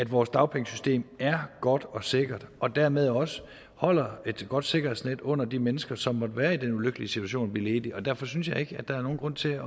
vores dagpengesystem er godt og sikkert og dermed også holder et godt sikkerhedsnet under de mennesker som måtte være i den ulykkelige situation at blive ledige og derfor synes jeg ikke der er nogen grund til